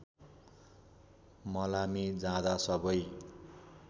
मलामी जाँदा सबै